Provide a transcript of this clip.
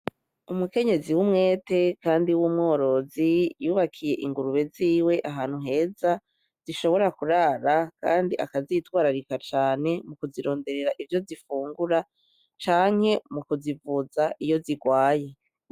Umukenyezi w'umwete kandi w'umworozi y'ubakiye ingurube ziwe ahantu heza zishobora kurara kandi akazitwararika mu kuzironderera ivyo zifungura canke mu kuzivuza iyo zigwaye.